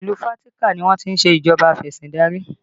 Ìlú Fatika ni wọ́n ti ń ṣe ìjọba afesindari